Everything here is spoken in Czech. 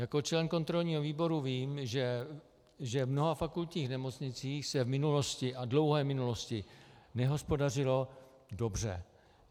Jako člen kontrolního výboru vím, že v mnoha fakultních nemocnicích se v minulosti, a dlouhé minulosti, nehospodařilo dobře.